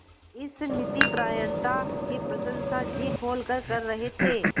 इस नीतिपरायणता की प्रशंसा जी खोलकर कर रहे थे